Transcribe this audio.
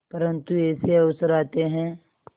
परंतु ऐसे अवसर आते हैं